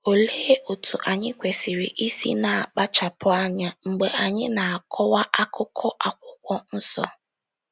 Olee otú anyị kwesịrị isi na-akpachapụ anya mgbe anyị na-akọwa akụkụ Akwụkwọ Nsọ?